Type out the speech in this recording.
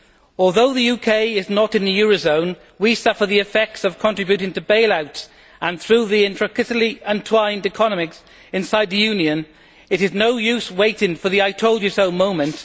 Although the UK is not in the eurozone, we suffer the effects of contributing to bail outs and through the intricately entwined economics inside the Union, it is no use waiting for the I told you so' moment.